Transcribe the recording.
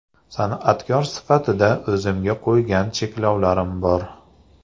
San’atkor sifatida o‘zimga qo‘ygan cheklovlarim bor.